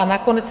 a nakonec